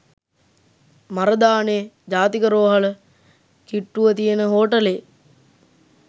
මරදානේ ජාතික රෝහල කිට්‌ටුව තියෙන හෝටලේ